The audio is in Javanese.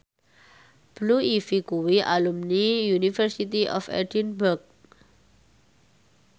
Blue Ivy kuwi alumni University of Edinburgh